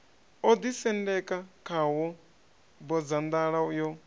o ḓisendeka khawo bodzanḓala yo